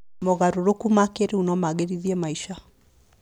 Mogarũrũku ma kĩrĩu no magĩrithie maica.